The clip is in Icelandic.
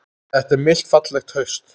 Það er milt fallegt haust.